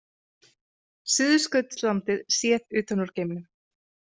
Suðurskautslandið séð utan úr geimnum.